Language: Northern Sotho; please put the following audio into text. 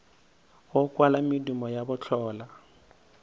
go kwala medumo ya bohlola